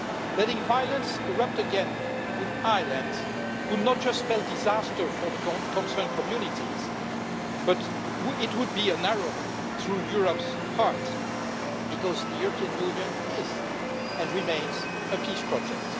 Letting violence erupt again in Ireland will not just spell disaster for the communities concerned, but it would it would be an arrow through Europe's heart because the European Union is, and remains, a peace project.